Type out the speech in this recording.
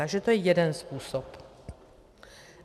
Takže to je jeden způsob.